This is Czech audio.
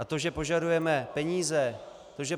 A to, že požadujeme peníze...